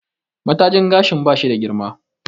Mata jin gashin ba shi da girma